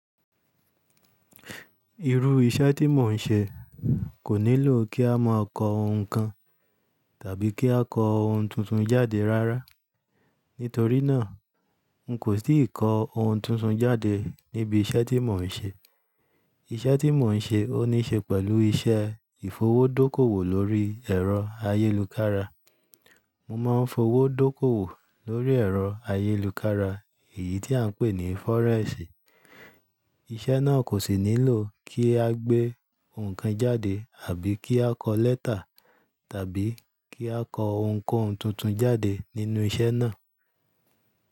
Irú iṣẹ́ tí mò ń ṣe kò nílò kí a máa kọ ohun kan tàbí kí a kọ ohun tuntun jáde rárá. Nítorínà, n kò tì kọ ohun tuntun jáde níbi iṣẹ́ tí mò ń ṣe. Iṣẹ́ tí mò ń ṣe ó ní ṣe pẹ̀lú iṣẹ́ ìfowó dókòwò lórí ẹ̀rọ ayélukára. Mo máa ń fowó dókòwò lórí ẹ̀rọ ayélukára, èyí tí à ń pè ní fọ́rẹ́ẹ̀sì. Iṣẹ́ náà kò sì nílò kí a gbé ohun kan jáde àbí kí a kọ lẹ́tà tàbí kí a kọ ohunkóhun tuntun jáde nínú iṣẹ́ náà.